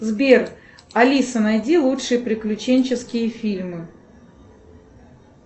сбер алиса найди лучшие приключенческие фильмы